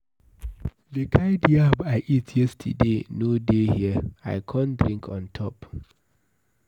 The kind yam I eat yesterday no dey here, I come drink on top.